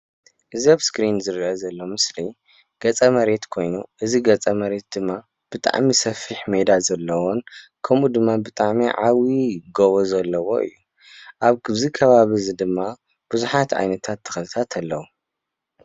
እዚ ኣብ ምስሊ ዝረኣ ዘሎ ገፀ-መሬት ኮይኑ ብጣዕሚ ሰፊሕ ሜዳ ከምኡ ድማ ብጣዕሚ ዓብይ ጎቦ ዘለዎ እዩ ኣብዚ ከባቢ ድማ ብዛሓት ዓይነት ተክልተታት ኣለው፡፡